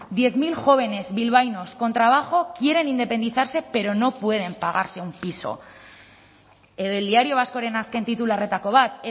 diez mil jóvenes bilbaínos con trabajo quieren independizarse pero no pueden pagarse un piso edo el diario vasco ren azken titularretako bat